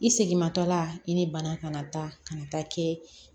I seginmatɔla i ni bana kana taa ka na taa kɛ